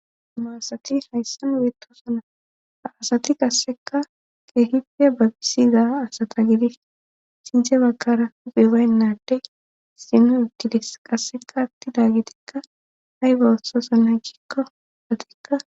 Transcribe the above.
maasati hayssan weetosana asati qasseka qeehife babisiza asata gidi sintche bagkara uphibaynnaddey seeno uttiles qasseka attida gitikka hay bawasosa na gikko datikka